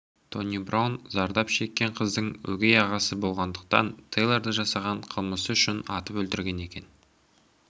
тони браун зардап шеккен қыздың өгей ағасы болғандықтан тэйлорды жасаған қылмысы үшін атып өлтірген екен